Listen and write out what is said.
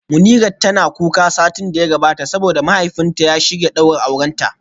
Munirat tana kuka satin da ya gabata saboda mahaifinta ya shirya daurin aurenta